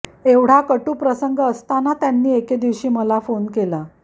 एवढा कटू प्रसंग असताना त्यांनी एके दिवशी मला फोन केला